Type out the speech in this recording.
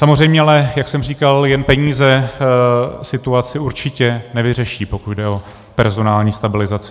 Samozřejmě ale, jak jsem říkal, jen peníze situaci určitě nevyřeší, pokud jde o personální stabilizaci.